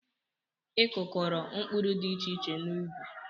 I kụkọro mkpụrụ dị iche iche n'ubi?